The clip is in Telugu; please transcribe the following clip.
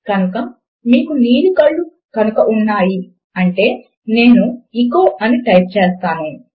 కనుక మీకు నీలి కళ్ళు కనుక ఉన్నాయి అంటే నేను ఎచో అని టైప్ చేస్తాను